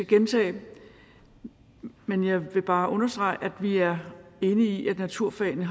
gentage dem men jeg vil bare understrege at vi er enige i at naturfagene